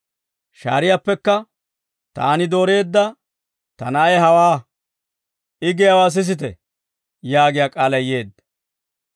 Shaariyaappekka, «Taani dooreedda ta Na'ay hawaa; I giyaawaa sisite» yaagiyaa k'aalay yeedda.